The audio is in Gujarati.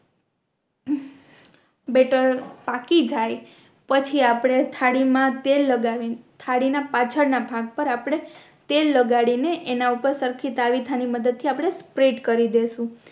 બેટર પાકી જાય પછી આપણે થાળી મા તેલ લગાવી થાળી ના પાછળ ના ભાગ પર આપણે તેલ લગાડી ને એના ઉપર સરખી તાવીથા ની મદદ થી આપણે સ્પ્રેડ કરી દેસું